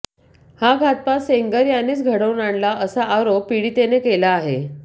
हा घातपात सेंगर यानेच घडवून आणला असा आरोप पीडितेने केला आहे